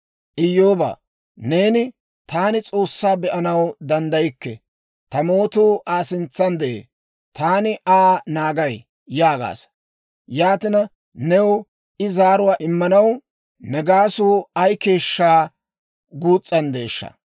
«Iyyoobaa, neeni, ‹Taani S'oossaa be'anaw danddaykke; ta mootuu Aa sintsan de'ee; taani Aa naagay› yaagaasa. Yaatina, new I zaaruwaa immanaw, ne gaasuu ay keeshshaa guus's'anddeeshsha!